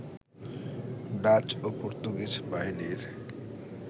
Dutch ও Portuguese বাহিনীর